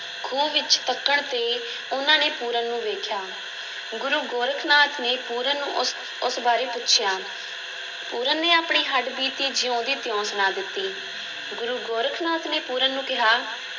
ਖੂਹ ਵਿੱਚ ਤੱਕਣ 'ਤੇ ਉਹਨਾਂ ਨੇ ਪੂਰਨ ਨੂੰ ਵੇਖਿਆ, ਗੁਰੂ ਗੋਰਖ ਨਾਥ ਨੇ ਪੂਰਨ ਨੂੰ ਉਸ, ਉਸ ਬਾਰੇ ਪੁੱਛਿਆ, ਪੂਰਨ ਨੇ ਆਪਣੀ ਹੱਡਬੀਤੀ ਜਿਉਂ ਦੀ ਤਿਉਂ ਸੁਣਾ ਦਿੱਤੀ, ਗੁਰੂ ਗੋਰਖ ਨਾਥ ਨੇ ਪੂਰਨ ਨੂੰ ਕਿਹਾ